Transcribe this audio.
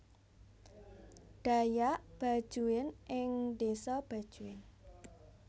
Dayak Bajuin ing desa Bajuin